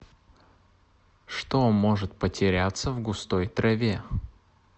что может потеряться в густой траве